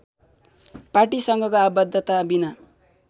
पार्टीसँगको आबद्धताविना